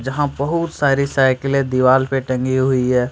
जहां बहुत सारी साइकिले दीवाल पे टंगी हुई है।